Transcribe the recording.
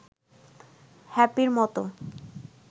হ্যাপির মতো